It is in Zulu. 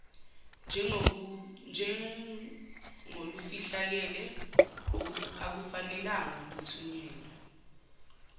njengolufihlakele akufanelanga luthunyelwe